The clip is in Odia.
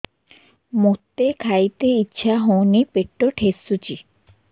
ମୋତେ ଖାଇତେ ଇଚ୍ଛା ହଉନି ପେଟ ଠେସୁଛି